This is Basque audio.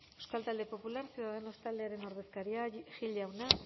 euskal talde popular ciudadanos taldearen ordezkaria gil jauna